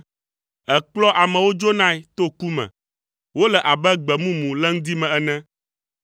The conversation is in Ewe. Èkplɔa amewo dzonae to ku me; wole abe gbe mumu le ŋdi me ene.